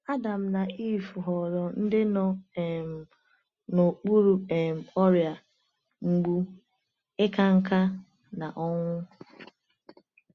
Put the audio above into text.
Adam na Ivụ ghọrọ ndị nọ um n’okpuru um ọrịa, mgbu, ịka nká, na ọnwụ.